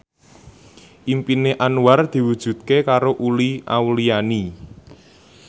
impine Anwar diwujudke karo Uli Auliani